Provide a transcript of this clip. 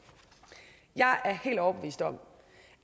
jeg er helt overbevist om